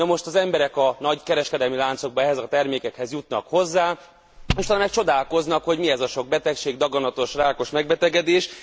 Namost az emberek a nagy kereskedelmi láncokban ehhez a termékekhez jutnak hozzá, és aztán csodálkoznak, mi ez a sok betegség, daganatos, rákos megbetegedés.